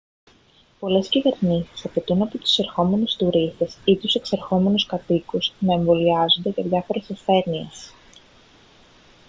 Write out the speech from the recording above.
πολλές κυβερνήσεις απαιτούν από τους εισερχόμενους τουρίστες ή τους εξερχόμενους κατοίκους να εμβολιάζονται για διάφορες ασθένειες